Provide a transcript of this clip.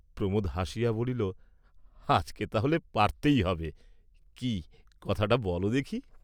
প্রমোদ হাসিয়া বলিল, "আজকে তাহলে পারতেই হবে, কি কথাটা বল দেখি?"